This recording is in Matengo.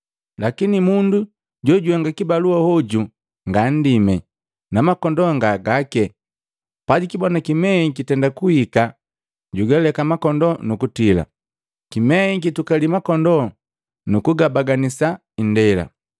Lakini mundu jojuhenga kibalua hoju nga nndime, na makondoo nga gake. Pajukibona kimei kitenda kuhika jugaleka makondoo nukutila. Kimei kitukali makondoo nukugabaganisa ndela.